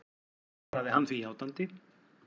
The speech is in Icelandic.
Svaraði hann því játandi.